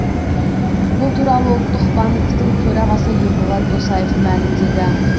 бұл туралы ұлттық банктің төрағасы ерболат досаев мәлімдеді